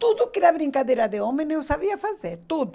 Tudo que era brincadeira de homem eu sabia fazer, tudo.